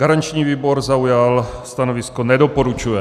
Garanční výbor zaujal stanovisko nedoporučuje.